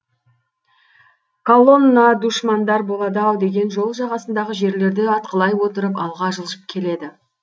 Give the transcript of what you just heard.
колонна душмандар болады ау деген жол жағасындағы жерлерді атқылай отырып алға жылжып келеді